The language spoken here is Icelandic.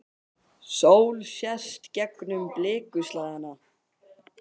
Sól sést gegnum blikuslæðuna.